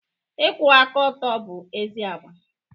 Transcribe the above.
Ịkwụba aka ọtụ bụ ezi agwa.